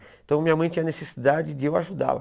Então, minha mãe tinha a necessidade de eu ajudá-la.